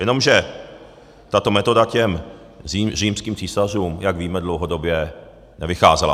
Jenomže tato metoda těm římským císařům, jak víme, dlouhodobě nevycházela.